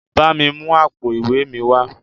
Bámi mú àpò ìwé mi wá.